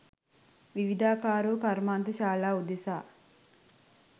විවිධාකාර වූ කර්මාන්තශාලා උදෙසා